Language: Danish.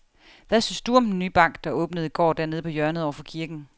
Hvad synes du om den nye bank, der åbnede i går dernede på hjørnet over for kirken?